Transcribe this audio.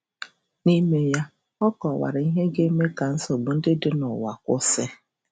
N'ime ya, Ọ kọwara ihe ga-eme ka nsogbu ndị dị n’ụwa kwụsị.